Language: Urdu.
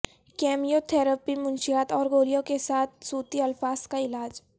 کیمیو تھراپی منشیات اور گولیاں کے ساتھ صوتی الفاظ کا علاج